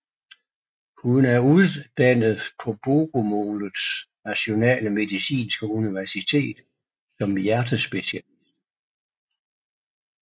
Hun er uddannet på Bogomolets nationale medicinske universitet som hjertespecialist